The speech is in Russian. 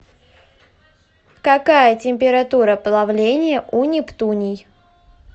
какая температура плавления у нептуний